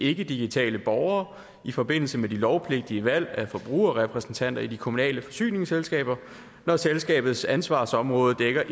ikkedigitale borgere i forbindelse med de lovpligtige valg af forbrugerrepræsentanter i de kommunale forsyningsselskaber når selskabets ansvarsområde dækker